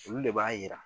Olu de b'a yira